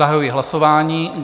Zahajuji hlasování.